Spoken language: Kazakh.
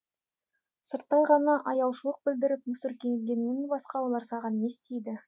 сырттай ғана аяушылық білдіріп мүсіркегеннен басқа олар саған не істейді